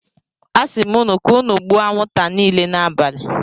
Asim unu ka unu gbuo anwunta nile n'abali.